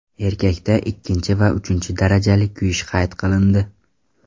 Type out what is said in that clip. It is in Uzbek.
Erkakda ikkinchi va uchinchi darajali kuyish qayd qilindi.